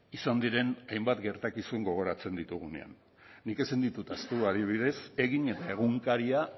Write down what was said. izan diren hainbat gertakizun gogoratzen ditugunean nik ezin ditut ahaztu adibidez egin eta egunkaria